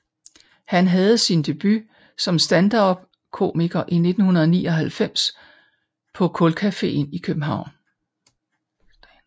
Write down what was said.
Han havde sin debut som standupkomiker i 1999 på Kulkafeen i København